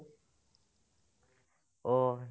অ'